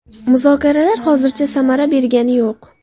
Muzokaralar hozircha samara bergani yo‘q.